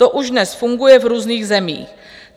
To už dnes funguje v různých zemích.